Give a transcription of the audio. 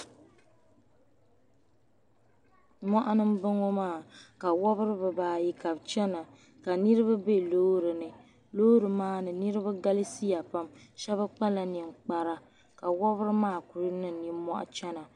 Moɣuni m bo ŋɔ maa ka wobiri bibaayi ka bi chana ka niribi be loori ni loori maa ni niribi galisiya pam shɛbi kpala ninkpara ka wobiri maa kuli niŋ nimohi chana.